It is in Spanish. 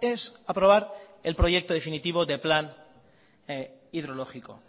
es aprobar el proyecto definitivo de plan hidrológico